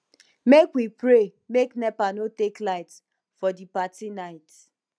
make we pray make nepa no take light for di party night